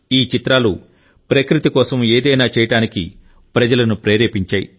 ఈ చిత్రాలు ప్రకృతి కోసం ఏదైనా చేయటానికి ప్రజలను ప్రేరేపించాయి